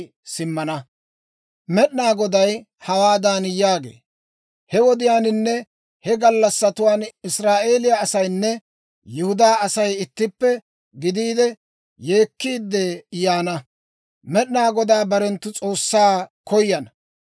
Med'inaa Goday hawaadan yaagee; «He wodiyaaninne he gallassatuwaan Israa'eeliyaa asaynne Yihudaa Asay ittippe gidiide, yeekkiidde yaana; Med'inaa Godaa barenttu S'oossaa koyana.